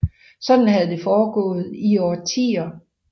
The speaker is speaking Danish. Sådan havde det foregået i årtier